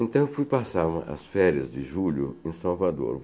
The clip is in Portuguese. Então, eu fui passar uma as férias de julho em Salvador.